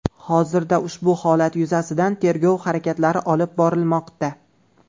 Hozirda ushbu holat yuzasidan tergov harakatlari olib borilmoqda.